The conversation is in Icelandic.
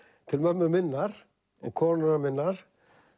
til mömmu minnar og konunnar minnar